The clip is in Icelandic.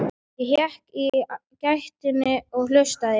Ég hékk í gættinni og hlustaði.